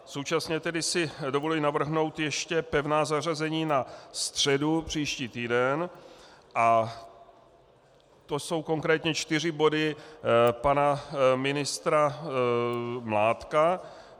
Současně si tedy dovoluji navrhnout ještě pevná zařazení na středu, příští týden, a to jsou konkrétně čtyři body pana ministra Mládka.